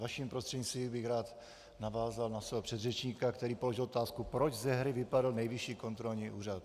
Vaším prostřednictvím bych rád navázal na svého předřečníka, který položil otázku, proč ze hry vypadl Nejvyšší kontrolní úřad.